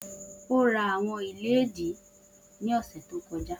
O ra awọn iledìí ni ọsẹ to kọja.